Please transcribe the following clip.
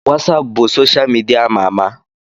Wasapụ bụ soshal midia ama ama